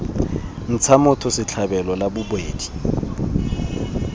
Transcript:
ntsha motho setlhabelo la bobedi